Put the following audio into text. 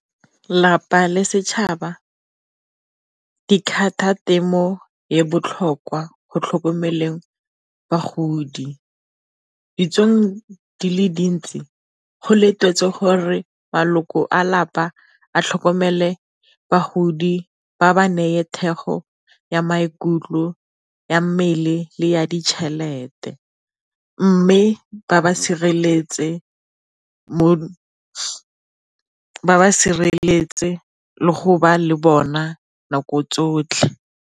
Lelapa le setšhaba temo e botlhokwa go tlhokomeleng bagodi, ditsong di le dintsi go letetswe gore maloko a lapa a tlhokomele bagodi ba ba neye thekgo ya maikutlo, ya mmele le ya ditšhelete. Mme ba ba sireletse le go ba le bona nako tsotlhe.